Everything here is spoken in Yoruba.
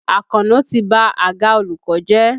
Àkànó ti ba àga olùkọ́ jẹ́.